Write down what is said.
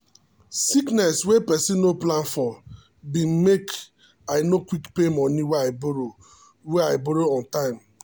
sickness wey person no plan for been makei no quick pay money wey i borrow wey i borrow on time.